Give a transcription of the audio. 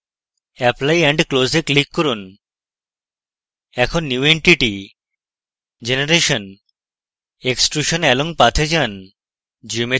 apply and close এ click করুন এখন new entity>> generation>> extrusion along path এ যান